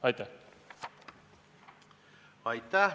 Aitäh!